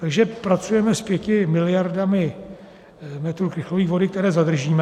Takže pracujeme s 5 miliardami metrů krychlových vody, které zadržíme.